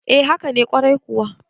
e haka nekwarai kuwa